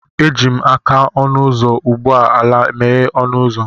Eji m aka ọnụ ụzọ ụgbọ ala meghere ọnụ ụzọ